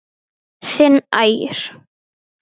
Þinn Ægir.